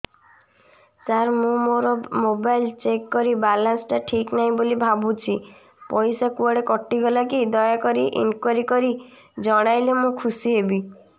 ସାର ମୁଁ ମୋର mobile check କଲି ବାଲାନ୍ସ ଟା ଠିକ ନାହିଁ ବୋଲି ଭାବୁଛି ପଇସା କୁଆଡେ କଟି ଗଲା କି ଦୟାକରି ଇନକ୍ୱାରି କରି ଜଣାଇଲେ ମୁଁ ଖୁସି ହେବି